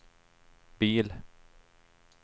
bil